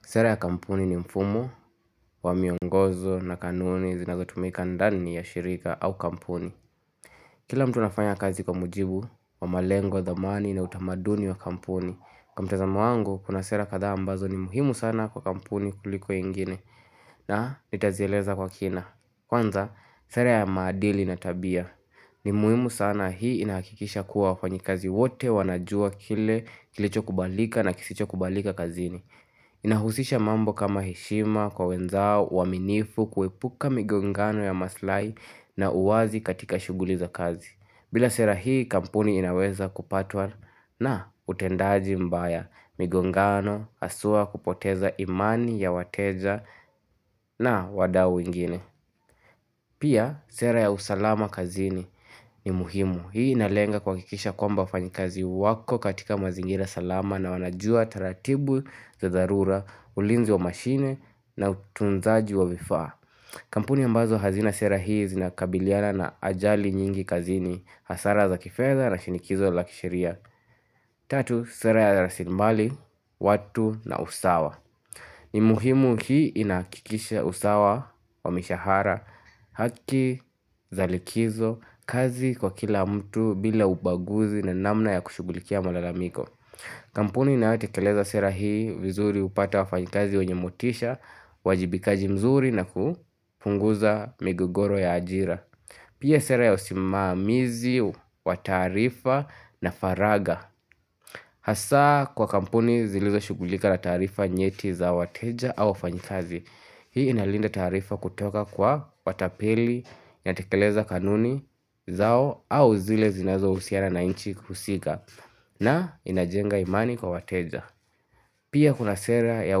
Sera ya kampuni ni mfumo wa miongozo na kanuni zinazotumika ndani ya shirika au kampuni Kila mtu anafanya kazi kwa mujibu, wa malengo, thamani na utamaduni wa kampuni Kwa mtazamo wangu, kuna sera kadhaa ambazo ni muhimu sana kwa kampuni kuliko ingine na nitazieleza kwa kina Kwanza, sera ya maadili na tabia ni muhimu sana hii inahakikisha kuwa wafanyakazi wote wanajua kile kilicho kubalika na kisicho kubalika kazini inahusisha mambo kama heshima kwa wenzao uaminifu kuhepuka migo ngano ya maslai na uwazi katika shughuli za kazi bila sera hii kampuni inaweza kupatwa na utendaji mbaya migo ngano haswa kupoteza imani ya wateja na wadau wengine Pia sera ya usalama kazini ni muhimu Hii inalenga kuhakikisha kwamba wafanyikazi wako katika mazingira salama na wanajua taratibu za dharura, ulinzi wa mashine na utunzaji wa vifaa kampuni ambazo hazina sera hii zinakabiliana na ajali nyingi kazini, hasara za kifedha na shinikizo lakisheria Tatu, sera ya rasimali, watu na usawa ni muhimu hii inahakikisha usawa wa mishahara haki za likizo kazi kwa kila mtu bila ubaguzi na namna ya kushughulikia malalamiko kampuni inayote keleza sera hii vizuri hupata wa fanyikazi wenye motisha wajibikaji mzuri na kupunguza migogoro ya ajira Pia sera ya usimamizi wa taarifa na faragha Hasa kwa kampuni zilizo shugulika la taarifa nyeti za wateja au fanyikazi Hii inalinda taarifa kutoka kwa watapeli, inatekeleza kanuni zao au zile zinazo husiana na inchi husika na inajenga imani kwa wateja Pia kuna sera ya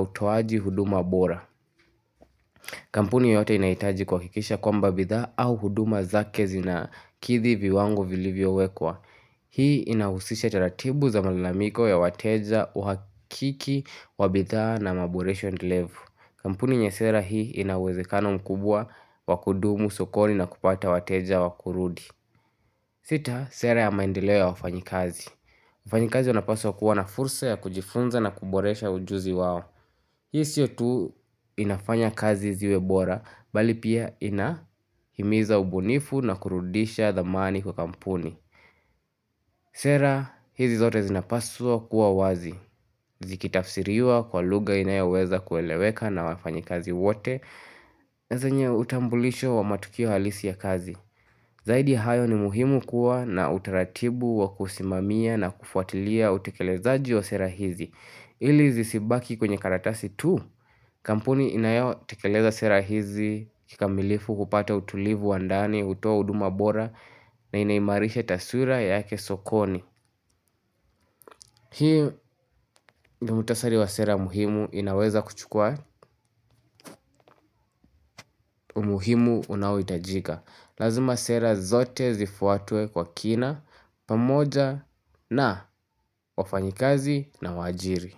utoaji huduma bora kampuni yote inahitaji kuhakisha kwa mbabidha au huduma za kezi na kidhi vi wango vilivyo wekwa Hii inahusisha taratibu za malalamiko ya wateja uhakiki, wabidhaa na maboresho endelevu. Kampuni ina sera hii inawezekano mkubwa wakudumu, sokoni na kupata wateja wakurudi. Sita, sera ya maendeleo ya wafanyi kazi. Mfanyi kazi anapaswa kuwa na fursa ya kujifunza na kuboresha ujuzi wao. Hii sio tu inafanya kazi ziwebora, bali pia inahimiza ubunifu na kurudisha dhamani kwa kampuni. Sera hizi zote zinapaswa kuwa wazi. Zikitafsiriwa kwa lugha inayoweza kueleweka na wafanyi kazi wote. Na zenye utambulisho wa matukio halisi ya kazi. Zaidi ya hayo ni muhimu kuwa na utaratibu wa kusimamia na kufuatilia utekelezaji wa sera hizi. Ili zisibaki kwenye karatasi tu, kampuni inayo tekeleza sera hizi, kikamilifu kupata utulivu wandani, hutoa huduma bora na inaimarisha taswira yake sokoni. Hiyo ni mutasari wa sera muhimu inaweza kuchukua umuhimu unaohitajika. Lazima sera zote zifuatwe kwa kina, pamoja na wafanyikazi na wajiri.